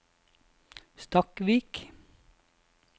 Stakkvik